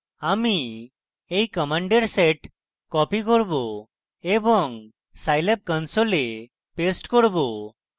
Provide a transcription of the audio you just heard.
আমি এই commands set copy করব এবং scilab console paste করব